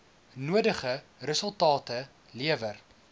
nodige resultate lewer